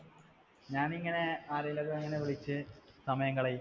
ഞാനിങ്ങനെ ആരോടെങ്കിലും വിളിച്ച് സമയം കളയും.